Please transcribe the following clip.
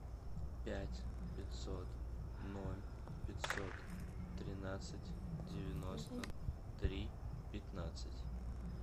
пять пятьсот ноль пятьсот тринадцать девяносто три пятнадцать